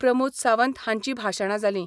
प्रमोद सावंत हांची भाशाणा जाली.